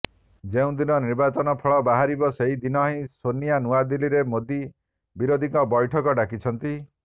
ଯେଉଁଦିନ ନିର୍ବାଚନ ଫଳ ବାହାରିବ ସେହିଦିନ ହିଁ ସୋନିଆ ନୂଆଦିଲ୍ଲୀରେ ମୋଦି ବିରୋଧୀଙ୍କ ବୈଠକ ଡାକିଛନ୍ତି